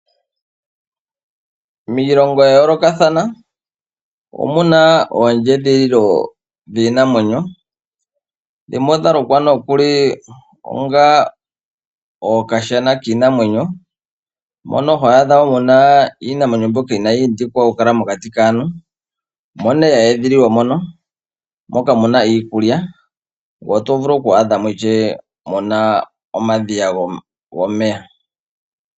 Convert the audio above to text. Miilongo ya yoolokathana omuna oondjedhililo dhiinamwenyo dhimwe odha lukwa nokuli onga okashana kiinamwenyo mono hwaadha muna iinamwenyo mbyoka yindikwa okukala mokati kaantu omo nee ya edhililwa moka ,omuna iikulya mo omuna omadhiya gomeya.